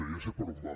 ja sé per on va